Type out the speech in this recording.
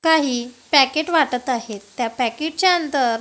काही पॅकेट वाटत आहेत त्या पॅकेट च्या अंदर--